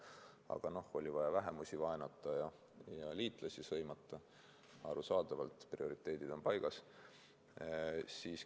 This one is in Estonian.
Aga oli vaja vähemusi vaenata ja liitlasi sõimata – arusaadavalt prioriteedid on paigas.